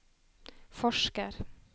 forsker